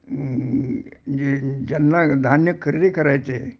हम्म्म्मम्म जे ज्यांना धान्य खरेदी करायचंय